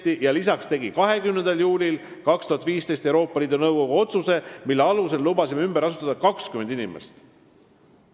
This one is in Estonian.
Lisaks tegi Euroopa Liidu Nõukogu 20. juulil 2015 otsuse, mille alusel me lubasime ümber asustada 20 inimest.